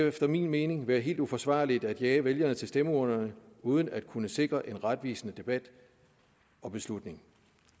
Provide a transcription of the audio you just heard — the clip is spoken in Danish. efter min mening være helt uforsvarligt at jage vælgerne til stemmeurnerne uden at kunne sikre en retvisende debat om beslutningen